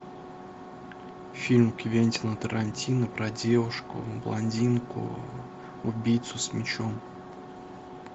фильм квентина тарантино про девушку блондинку убийцу с мечом